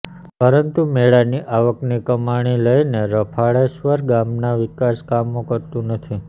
પરંતું મેળાની આવકની કમાણી લઈને રફાળેશ્વર ગામનાં વિકાસ કામો કરતું નથી